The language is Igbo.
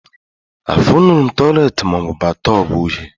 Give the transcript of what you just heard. Afụnurọm tọiletị maọbụ batọb uhie